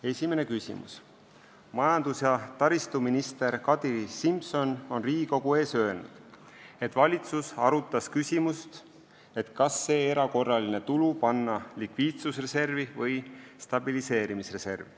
Esimene küsimus: "Majandus- ja taristuminister Kadri Simson on Riigikogu ees öelnud, et valitsus arutas küsimust, et kas see erakorraline tulu panna likviidsusreservi või stabiliseerimisreservi.